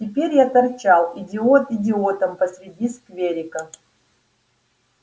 теперь я торчал идиот идиотом посреди скверика